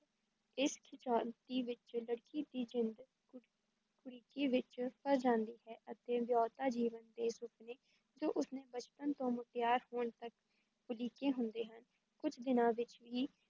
ਇਸ ਖਿੱਚਾਣਤੀ ਵਿੱਚ ਲੜਕੀ ਦੀ ਜਿੰਦ ਕੁੜ ਕੁੜਿੱਕੀ ਵਿਚ ਫਸ ਜਾਂਦੀ ਹੈ ਅਤੇ ਵਿਆਹੁਤਾ ਜੀਵਨ ਦੇ ਸੁਪਨੇ, ਜੋ ਉਸ ਨੇ ਬਚਪਨ ਤੋਂ ਮੁਟਿਆਰ ਹੋਣ ਤੱਕ ਉਲੀਕੇ ਹੁੰਦੇ ਹਨ, ਕੁੱਝ ਦਿਨਾਂ ਵਿਚ ਹੀ